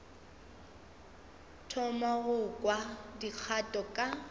thoma go kwa dikgato ka